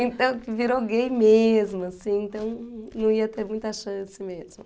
Então virou gay mesmo, assim, então não ia ter muita chance mesmo.